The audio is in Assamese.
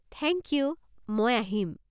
থেংক ইউ, মই আহিম!